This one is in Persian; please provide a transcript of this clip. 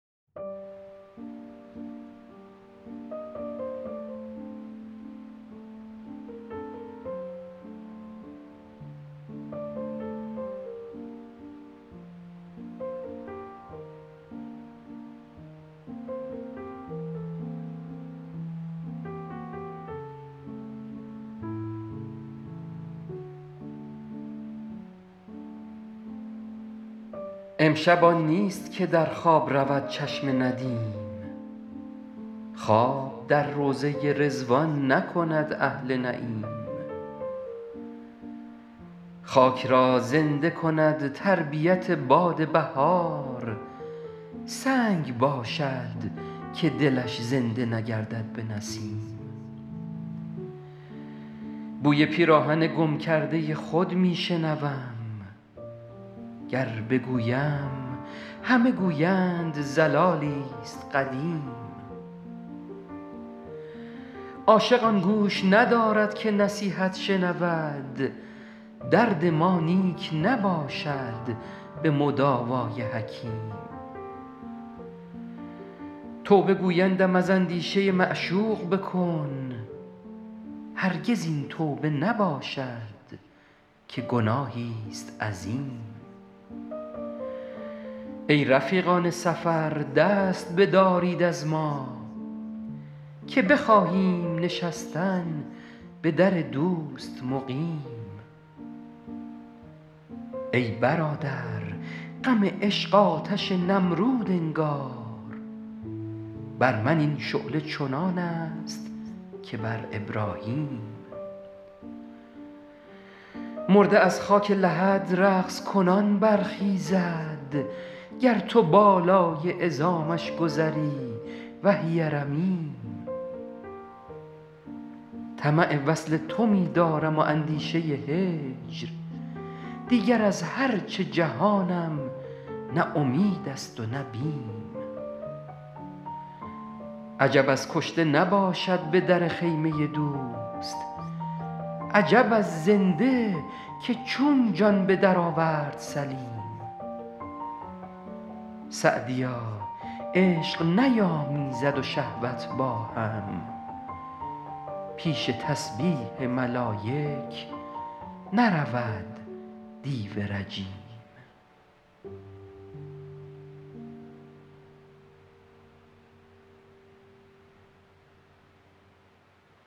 امشب آن نیست که در خواب رود چشم ندیم خواب در روضه رضوان نکند اهل نعیم خاک را زنده کند تربیت باد بهار سنگ باشد که دلش زنده نگردد به نسیم بوی پیراهن گم کرده خود می شنوم گر بگویم همه گویند ضلالی ست قدیم عاشق آن گوش ندارد که نصیحت شنود درد ما نیک نباشد به مداوا ی حکیم توبه گویندم از اندیشه معشوق بکن هرگز این توبه نباشد که گناهی ست عظیم ای رفیقان سفر دست بدارید از ما که بخواهیم نشستن به در دوست مقیم ای برادر غم عشق آتش نمرود انگار بر من این شعله چنان است که بر ابراهیم مرده از خاک لحد رقص کنان برخیزد گر تو بالای عظامش گذری وهی رمیم طمع وصل تو می دارم و اندیشه هجر دیگر از هر چه جهانم نه امید است و نه بیم عجب از کشته نباشد به در خیمه دوست عجب از زنده که چون جان به درآورد سلیم سعدیا عشق نیامیزد و شهوت با هم پیش تسبیح ملایک نرود دیو رجیم